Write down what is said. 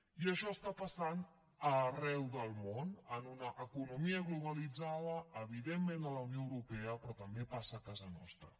i això està passant arreu del món en una economia globalitzada evidentment a la unió europea però també passa a casa nostra